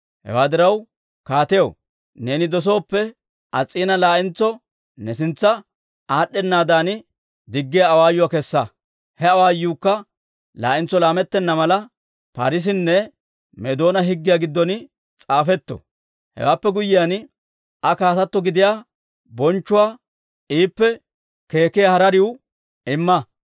«Hewaa diraw kaatiyaw, neeni dosooppe, Ass's'iina laa'entso ne sintsa aad'd'ennaadan diggiyaa awaayuwaa kessa; he awaayuukka laa'entso laamettenna mala, Paarisenne Meedoona higgiyaa giddon s'aafetto. Hewaappe guyyiyaan, Aa kaatato gidiyaa bonchchuwaa iippe keekkiyaa harariw imma.